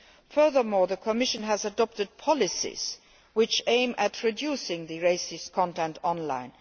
Furthermore, the Commission had adopted policies that aim at reducing racist content online.